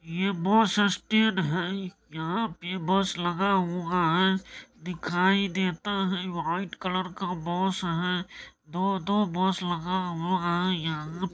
ये bus stand है यहाँ पे बस लगा हुआ हैं दिखाई देता है व्हाइट कलर का बस है दो दो बस लगा हुआ है। यहा --